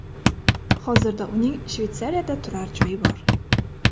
Hozirda uning Shveysariyada turar joyi bor.